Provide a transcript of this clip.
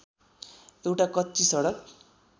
एउटा कच्ची सडक